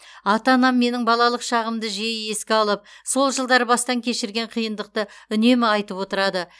ата анам менің балалық шағымды жиі еске алып сол жылдары бастан кешірген қиындықты үнемі айтып отырады